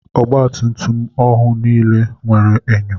Ọgba tum tum ọhụụ nile nwere enyo.